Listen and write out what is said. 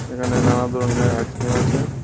এখানে নানা ধরনের আইসক্রিম আছে।